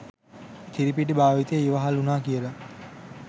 කිරිපිටි භාවිතය ඉවහල් වුණා කියලා.